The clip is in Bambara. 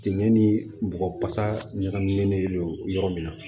Jɛmin ni bɔgɔ fasa ɲagaminen don yɔrɔ min na